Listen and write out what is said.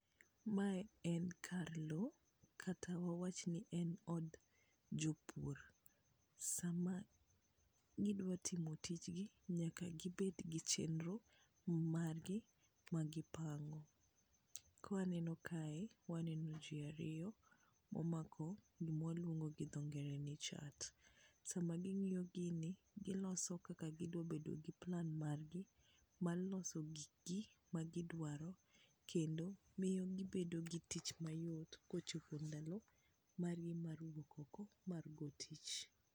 mae en kar lo kata wawach ni en od jopur, sama gidwa timo tijgi nyaka gibed gi chenro mag gi magipango ,kwa neno kae waneno ji ariyo momako gima waluongo go dhongere ni chat, sama gi ng'iyo gin giloso kaka gidwa bedo gi plan mar gi mar loso gik gi magi dwaro kendo miyo gibedo gi tich mayot kochopo ndalo mar gi mar wuok oko mar go tich.